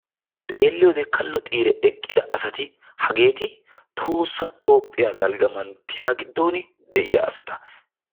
Xeeliyoode kallo xiire eqqidta asati hageeti tohossa toophiyaa dalgga manttiya giddon de'iyaa asata.